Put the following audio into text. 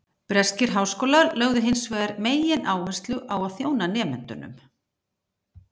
Breskir háskólar lögðu hins vegar megináherslu á að þjóna nemendunum.